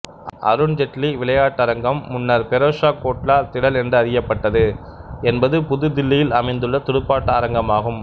அருண் ஜேட்லி விளையாட்டரங்கம்முன்னர் பெரோ சா கோட்லா திடல் என்று அறியப்பட்டது என்பது புதுதில்லியில் அமைந்துள்ள துடுப்பாட்ட அரங்கமாகும்